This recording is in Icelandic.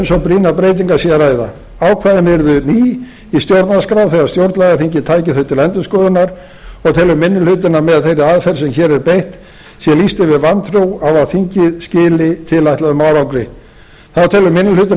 svo brýnar breytingar sé að ræða ákvæðin yrðu ný í stjórnarskrá þegar stjórnlagaþingið tæki þau til endurskoðunar og telur minni hlutinn að með þeirri aðferð sem hér er beitt sé lýst yfir vantrú á að þingið skili tilætluðum árangri þá telur minni hlutinn